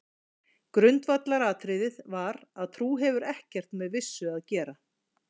Grundvallaratriðið var að trú hefur ekkert með vissu að gera.